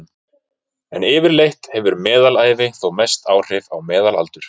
en yfirleitt hefur meðalævi þó mest áhrif á meðalaldur